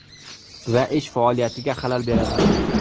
Va ish faoliyatiga xalal beradi.